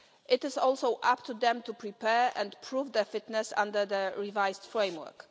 It is also up to them to prepare and prove their fitness under the revised framework.